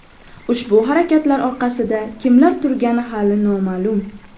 Ushbu harakatlar orqasida kimlar turgani hali noma’lum.